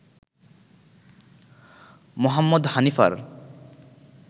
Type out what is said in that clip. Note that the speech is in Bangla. মোহাম্মদ হানিফার